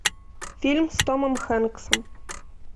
фильм с томом хэнксом